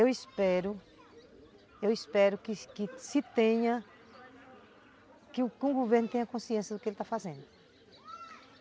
Eu espero, eu espero que que se tenha, que o governo tenha consciência do que ele está fazendo.